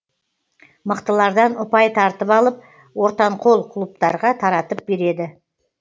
мықтылардан ұпай тартып алып ортанқол клубтарға таратып береді